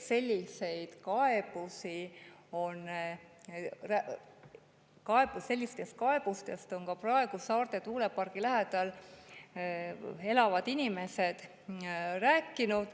Sellistest kaebustest on ka praegu Saarde tuulepargi lähedal elavad inimesed rääkinud.